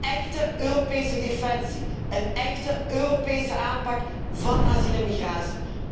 Een echte Europese defensie, een echte Europese aanpak van asiel en migratie.